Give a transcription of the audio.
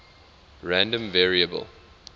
random variable